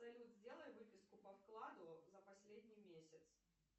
салют сделай выписку по вкладу за последний месяц